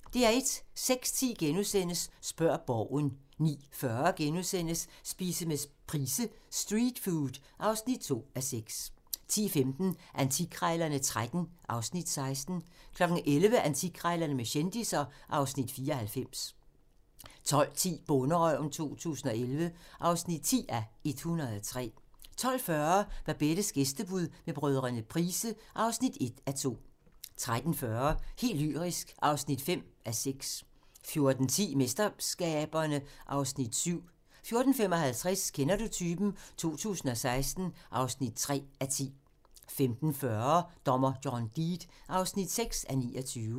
06:10: Spørg Borgen * 09:40: Spise med Price: "Street food" (2:6)* 10:15: Antikkrejlerne XIII (Afs. 16) 11:00: Antikkrejlerne med kendisser (Afs. 94) 12:10: Bonderøven 2011 (10:103) 12:40: Babettes gæstebud med brødrene Price (1:2) 13:40: Helt lyrisk (5:6) 14:10: MesterSkaberne (Afs. 7) 14:55: Kender du typen? 2016 (3:10) 15:40: Dommer John Deed (6:29)